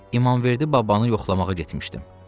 İmamverdi babanı yoxlamağa getmişdim.